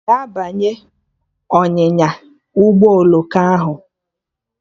Ị ga-abanye ọnyịnya ụgbọ oloko ahụ?